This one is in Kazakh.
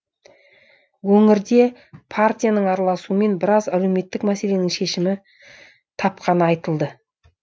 өңірде партияның араласуымен біраз әлеуметтік мәселенің шешімін тапқаны айтылды